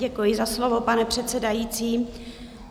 Děkuji za slovo, pane předsedající.